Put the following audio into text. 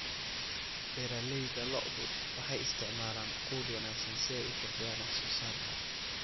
Beeralayda lo'du waxay isticmaalaan quud wanaagsan si ay u kordhiyaan wax soo saarka.